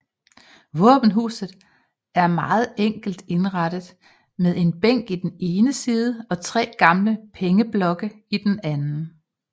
Våbenhuset er meget enkelt indrettet med en bænk i den ene side og tre gamle pengeblokke i den anden